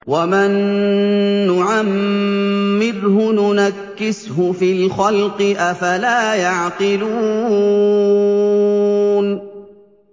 وَمَن نُّعَمِّرْهُ نُنَكِّسْهُ فِي الْخَلْقِ ۖ أَفَلَا يَعْقِلُونَ